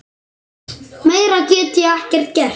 Meira get ég ekki gert.